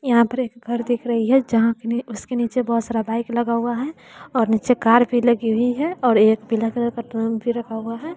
यहां पर एक घर दिख रही है जहां उसके नीचे बहुत सारा बाइक लगा हुआ है और नीचे कार भी लगी हुई है और एक पीला कलर का ट्रक भी रखा हुआ है।